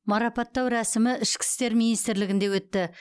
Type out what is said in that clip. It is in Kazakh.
марапаттау рәсімі ішкі істер министрлігінде өтті